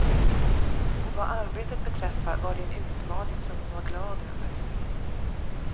Och vad arbetet beträffar var det en utmaning som hon var glad över.